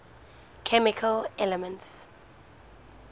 chemical elements